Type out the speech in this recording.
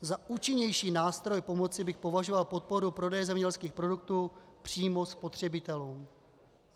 Za účinnější nástroj pomoci bych považoval podporu prodeje zemědělských produktů přímo spotřebitelům.